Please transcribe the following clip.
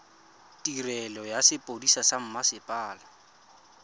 tirelo ya sepodisi sa mmasepala